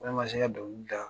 Ne ma se ka dongili da.